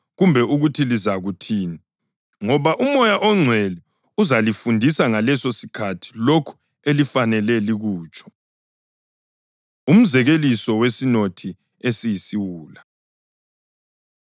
ngoba uMoya oNgcwele uzalifundisa ngalesosikhathi lokho elifanele likutsho.” Umzekeliso Wesinothi Esiyisiwula